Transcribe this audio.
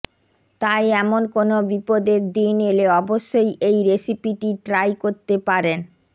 তাই এমন কোনও বিপদের দিন এলে অবশ্যই এই রেসিপিটি ট্রাই করতে পারেন